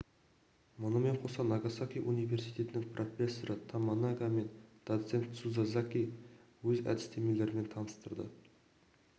мұнымен қоса нагасаки университетінің профессоры томанага мен доцент тцуказаки өз әдістемелерімен таныстырды